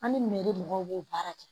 An ni mɔgɔw b'o baara kɛ